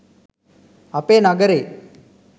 අපේ නගරෙ